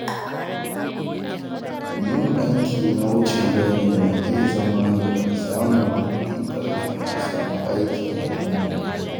Yin aiki na wucin-gadi na iya zama hanyar samun kuɗi kafin a samu aiki na dindindin.